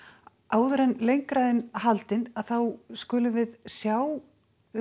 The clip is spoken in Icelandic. áður en lengra er haldið skulum við sjá